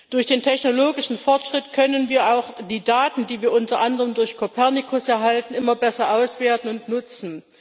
Durch den technologischen Fortschritt können wir auch die Daten, die wir unter anderem durch Copernicus erhalten, immer besser auswerten und nutzen.